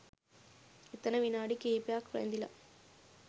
එතන විනාඩි කිහිපයක් රැඳිලා